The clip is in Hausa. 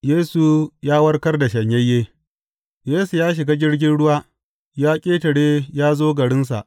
Yesu ya warkar da shanyayye Yesu ya shiga jirgin ruwa, ya ƙetare ya zo garinsa.